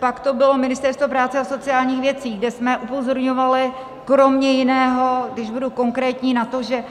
Pak to bylo Ministerstvo práce a sociálních věcí, kde jsme upozorňovali kromě jiného, když budu konkrétní, na to, že